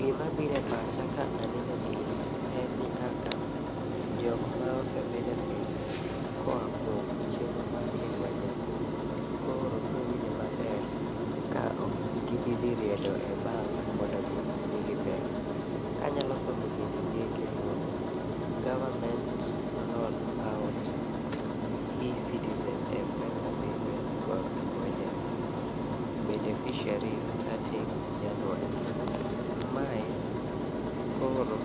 Gima birepacha ka aneno gini en ni kaka jokma ose benefit koa kuom chenro mar inua jamii koro browinjo maber ka okgibidhi riedo e bank mondo mi migi pes. Ka anya somo gini gi kisungu: Government rolls out e-citizen m-pesa payments for Inua jamii beneficiaries starting January. Mae koro